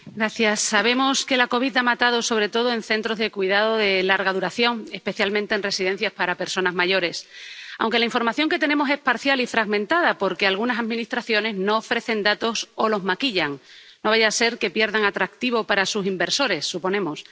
Señor presidente, sabemos que la COVID ha matado sobre todo en centros de cuidados de larga duración, especialmente en residencias para personas mayores, aunque la información que tenemos es parcial y fragmentada, porque algunas administraciones no ofrecen datos o los maquillan, no vaya a ser que pierdan atractivo para sus inversores ⸺suponemos⸺.